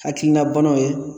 Hakilina banaw ye